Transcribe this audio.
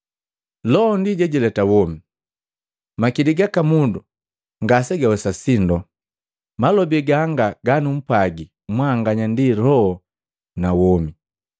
Loho ndi jejileta womi, makili gaka mundu ngase gawesa sindo. Malobi ganga ganumpwagi mwanganya ndi loho na womi.